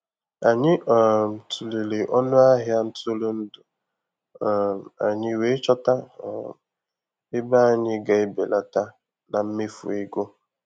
Anyị um tụlere ọnụ ahịa ntụrụndụ um anyị wee chọta um ebe anyị ga-ebelata na mmefu ego.